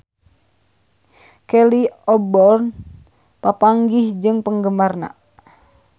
Kelly Osbourne papanggih jeung penggemarna